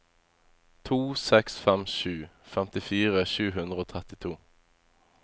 to seks fem sju femtifire sju hundre og trettito